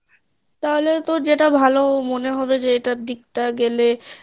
তাহলে তোর যেটা ভালো মনে হবে যে এটার দিকটা গেলে